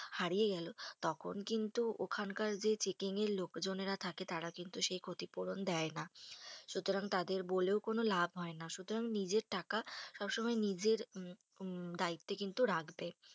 হারিয়ে গেলো, তখন কিন্তু ওখানকার যে checking এর লোকজনেরা থাকে তারা কিন্তু সেই ক্ষতিপূরণ দেয়না। সুতরাং তাদের বলেও কোনো লাভ হয়না। সুতরাং, নিজের টাকা সবসময় নিজের দায়িত্বে কিন্তু রাখবে।